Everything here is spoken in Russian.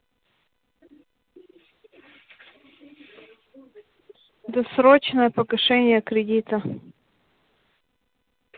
досрочное погашение кредита